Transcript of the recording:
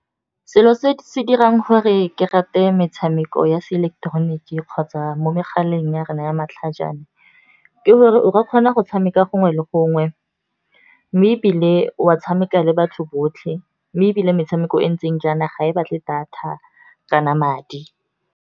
Selo se se dirang gore ke rate metshameko ya se ileketeroniki kgotsa mo megaleng ya rona ya matlhajana, ke gore o re kgona go tshameka gongwe le gongwe. Mme ebile o tshameka le batho botlhe mme ebile metshameko e ntseng jaana, ga e batle data kana madi.